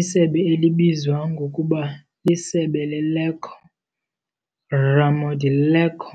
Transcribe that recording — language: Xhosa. isebe libizwa ngokuba "liSebe leLecco" - "Ramo di Lecco".